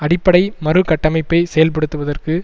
அடிப்படை மறுகட்டமைப்பை செயல்படுத்துவதற்கு